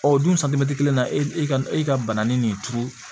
Ɔ o dun santimɛtiri kelen na e ka e ka banani nin turu